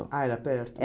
Ah, era perto?